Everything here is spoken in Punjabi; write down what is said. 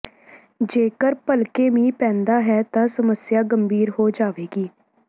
ਜੇਕਰ ਭਲਕੇ ਮੀਂਹ ਪੈਂਦਾ ਹੈ ਤਾਂ ਸਮੱਸਿਆ ਗੰਭੀਰ ਹੋ ਜਾਵੇਗੀ